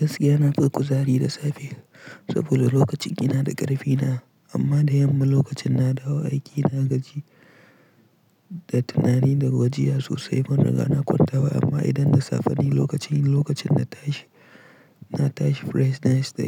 Gaskiya nafi kuzari da safe saboda lokacin ina da ƙarfina amma da yamma lokacin na dawo aiki na gaji da tunani da gajiya sosai ban riga na kwanta ba amma idan da safa ne lokacin, lokacin na tashi, na tashi fresh nice da